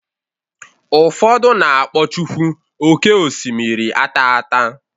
Ụfọdụ na-akpọ chukwu oké osimiri ataata..